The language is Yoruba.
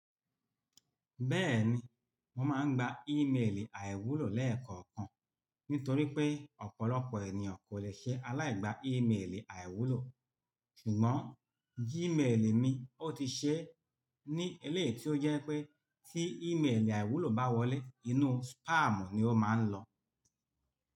Bẹ́ẹ̀ni, mo máa ń gba ímeèlì àìwúlò lẹ́ẹ̀kọ̀kan nítorí pé ọ̀pọ̀lọpọ̀ ènìyàn kò lè ṣe aláìgbá ímeèlì àìwúlò. Ṣùgbọ́n, gíméèlì mi ó ti ṣe é ní eleyii tí ó jẹ́ pé tí ímeèlì àìwúlò bá wọlé inú spamu ni ó máa ń lọ.